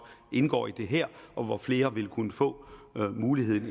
indgår i det her og flere vil kunne få muligheden